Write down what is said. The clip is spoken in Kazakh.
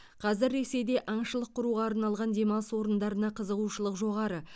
қазір ресейде аңшылық құруға арналған демалыс орындарына қызығушылық жоғары